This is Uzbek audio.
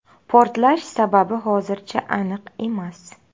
Portlash sababi hozircha aniq emas.